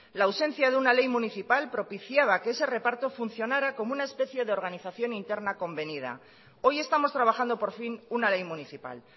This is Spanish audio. la ausencia de una ley municipal propiciaba que ese reparto funcionara como una especie de organización interna convenida hoy estamos trabajando por fin una ley municipal